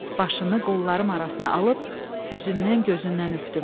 Başını qollarım arasına alıb üzündən, gözündən öpdüm.